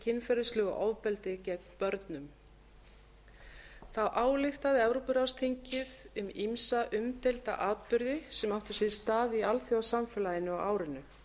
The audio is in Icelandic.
kynferðislegu ofbeldi gegn börnum þá ályktaði evrópuráðsþingið um ýmsa umdeilda atburði sem áttu sér stað í alþjóðasamfélaginu á árinu